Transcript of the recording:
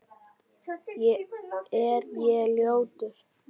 Er ég ljótur?